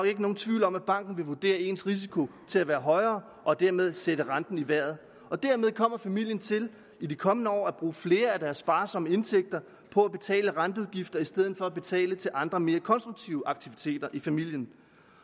ikke nogen tvivl om at banken vil vurdere ens risiko til at være højere og dermed sætte renten i vejret dermed kommer familien til i de kommende år at bruge flere af deres sparsomme indtægter på at betale renteudgifter i stedet for at betale til andre mere konstruktive aktiviteter i familien